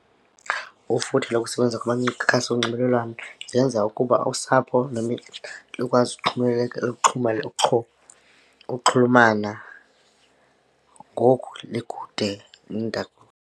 Ufuthe lokusebenza kumakhasi onxibelelwano zenza ukuba usapho likwazi ukuxhomekeka ukuxhulumana ngoku likude nendawo.